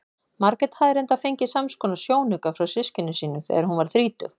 Margrét hafði reyndar fengið samskonar sjónauka frá systkinum sínum þegar hún varð þrítug.